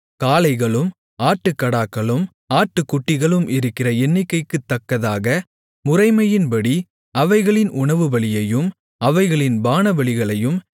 காளைகளும் ஆட்டுக்கடாக்களும் ஆட்டுக்குட்டிகளும் இருக்கிற எண்ணிக்கைக்குத் தக்கதாக முறைமையின்படி அவைகளின் உணவுபலியையும் அவைகளின் பானபலிகளையும்